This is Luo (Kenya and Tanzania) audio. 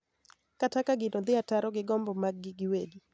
Kata ka gino dhi ataro gi gombo mag-gi giwegi.